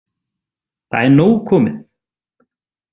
Það er nóg komið.